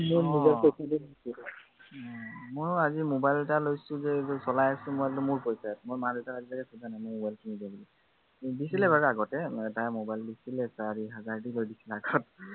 মইও আজি mobile এটা লৈছো যে, এইবোৰ চলাই আছো মই একদম মোৰ পইচাৰে, মা-দেউতাক আজিলৈকে খোজা নাই মোক mobile কিনি দে বুলি। দিছিলে বাৰু আগতে এটা mobile দিছিলে, চাৰি হাজাৰ দি লৈ দিছিলে আগত